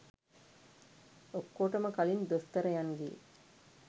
ඔක්කොටම කලින් දොස්තරයන්ගේ